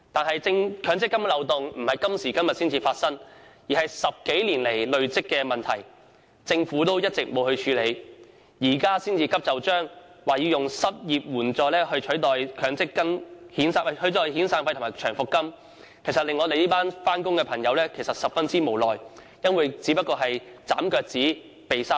然而，強積金的漏洞是數十年來累積的問題，政府一直未有處理，現在才急就章，表示會以失業保險金取代遣散費和長期服務金，確實令我們這群上班族十分無奈，認為政府此舉只不過是"斬腳趾避沙蟲"。